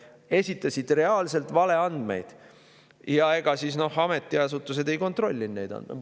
Nad esitasid reaalselt valeandmeid ja ega siis ametiasutused ei kontrollinud neid andmeid.